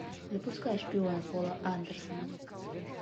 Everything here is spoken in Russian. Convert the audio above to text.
запускай шпиона пола андерсона